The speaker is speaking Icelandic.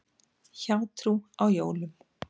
Hjátrú á jólum.